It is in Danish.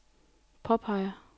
påpeger